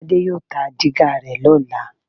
Tádé yóò ta dígà rẹ lọ́la